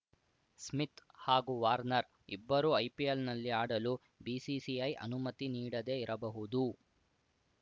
Smith ಹಾಗೂ Warner ಇಬ್ಬರೂ ಐಪಿಎಲ್‌ನಲ್ಲಿ ಆಡಲು ಬಿಸಿಸಿಐ ಅನುಮತಿ ನೀಡದೇ ಇರಬಹುದು